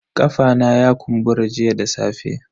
Kafa na ya kumbura jiya da safe.